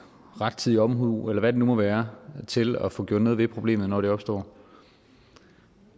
rettidig omhu eller hvad det nu må være til at få gjort noget ved problemet når det opstår